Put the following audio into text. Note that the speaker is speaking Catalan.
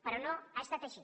però no ha estat així